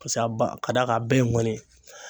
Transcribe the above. Pase a ba ka d'a kan a bɛɛ ye ŋɔni ye